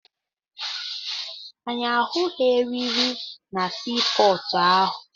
Anyị ahụghị erịrị na sii pọọtụ ahụ.